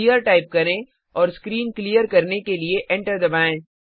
clear type करें और screen clear करने के लिए एंटर दबाएं